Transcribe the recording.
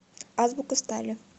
азбука стали